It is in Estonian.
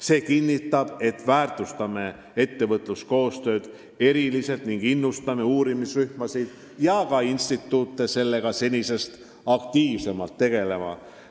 See kinnitab, et me väärtustame ettevõtluskoostööd eriliselt ning innustame uurimisrühmasid ja ka instituute sellega senisest aktiivsemalt tegelema.